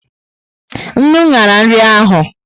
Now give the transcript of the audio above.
Ńnú ñyara nri ahu